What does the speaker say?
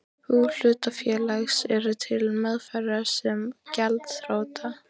bú hlutafélags, eru til meðferðar sem gjaldþrota.